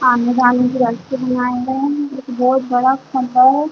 आने-जाने की रास्ते बनाये गए है जोकि बोहत बड़ा खम्बा है।